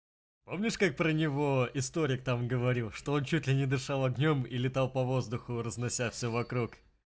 помнишь как про него историк там говорил что он чуть ли не дышала огнём и летал по воздуху разнося всё вокруг